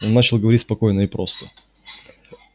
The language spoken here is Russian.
он начал говорить спокойно и просто